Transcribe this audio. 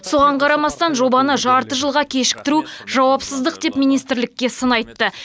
соған қарамастан жобаны жарты жылға кешіктіру жауапсыздық деп министрлікке сын айтты